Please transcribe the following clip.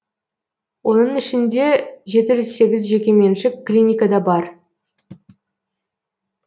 оның ішінде жеті жүз сегіз жеке меншік клиника да бар